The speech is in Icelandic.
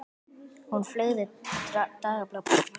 Hún fleygði dagblaðinu með fréttinni um Hjördísi á borðið.